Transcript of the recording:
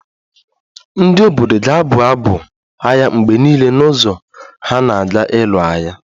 Ndị obodo ga-abụ abụ agha mgbe niile n'ụzọ ha na-aga ịlụ agha